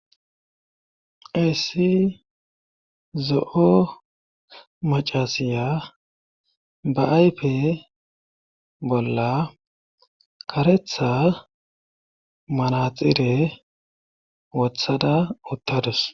Hayssi zo7o macasiya ba aype bolla karetha manaxire wothada uttadus